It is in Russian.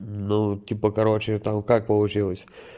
ну типа короче там как получилось